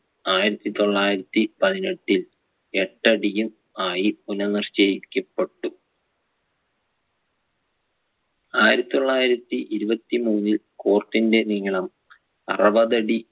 ആയിരത്തിതൊള്ളായിരത്തി പതിനെട്ടിൽ എട്ടടിയും ആയി പുനർനിശ്ചയിക്കപ്പെട്ടു ആയിരത്തിത്തൊള്ളായിരത്തി ഇരുപത്തിമൂന്നിൽ court ന്റെ നീളം അറപതടി